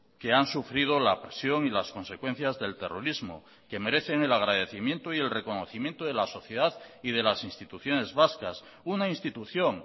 que han sufrido la presión y las consecuencias del terrorismo que merecen el agradecimiento y el reconocimiento de la sociedad y de las instituciones vascas una institución